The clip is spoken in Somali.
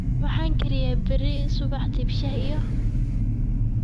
maxan kariyaa beri subaxdii shah iyo